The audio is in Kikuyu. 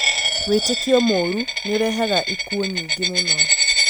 Wĩtĩkio mũũru nĩ ũrehaga ĩkuũ nyĩngi mũno